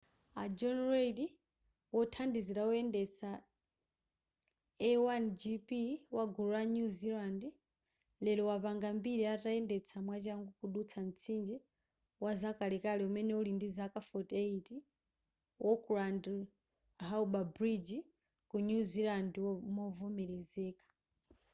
a john reid wothandizira woyendetsa a1gp wagulu la new zealand lero wapanga mbiri atayendetsa mwachangu kudutsa mtsinje wazakalekale umene uli ndi zaka 48 wa auckland harbour bridge ku new zealand movomelezeka